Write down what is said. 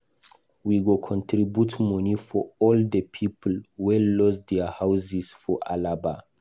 We go contribute money for all the people wey lose their houses for Alaba